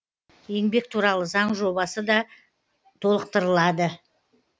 еңбек туралы заң жобасы да толықтырылады